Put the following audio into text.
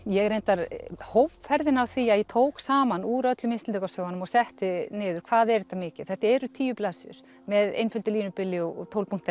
ég reyndar hóf ferðina á því að ég tók saman úr öllum Íslendingasögunum og setti niður hvað er þetta mikið þetta eru tíu blaðsíður með einföldu línubili og tólf punkta